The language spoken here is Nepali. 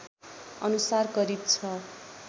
अनुसार करिब ६